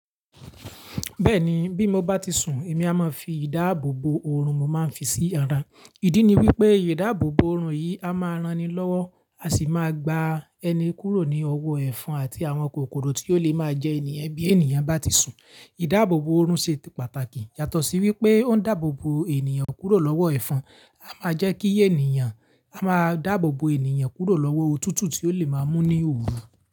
Bẹ́ẹ̀ni, bí mo bá ti sùn, èmi a máa fi ìdáàbòbò oorun mo máa ń fi sí ara. Ìdí ni wípé ìdáàbòbò oorun yìí a máa ran ni lọ́wọ́ a sì máa gba ẹni kúrò ní ọwọ́ ẹ̀fọn àti àwọn kòkòrò tí ó lè máa jẹ ènìyàn bí ènìyàn bá ti sùn. Ìdáàbòbò oorun ṣe pàtàkì yàtọ̀ sí wípé ó ń dáàbò bo ènìyàn kúrò lọ́wọ́ ẹ̀fọn, a máa jẹ́ kí ènìyàn a máa dáàbò bo ènìyàn kúrò lọ́wọ́ òtútù tí ó lè máa mú ní òru.